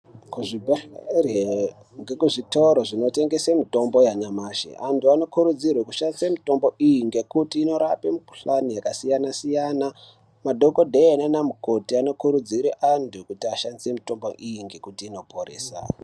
Kuzvibhedhleri ngekuzvitoro zvinotengese mitombo yanyamashi. Antu anokurudzirwe kushandise mitombo iyi ngekuti inorape mikuhlani yakasiyana-siyana. Madhokodheya naana mukoti anokurudzire antu kuti ashandise mitombo iyi ngekuti inoporesa.